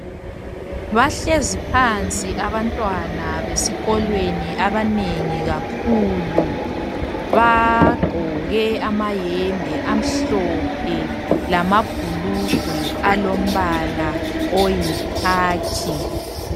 Bahlezi phansi abantwana besikolweni abanengi kakhulu .Bagqoke amahembe amhlophe lamabhulugwe alombala oyikhakhi.